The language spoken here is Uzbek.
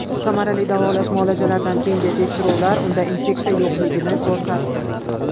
Samarali davolash muolajalaridan keyingi tekshiruvlar unda infeksiya yo‘qligini ko‘rsatdi.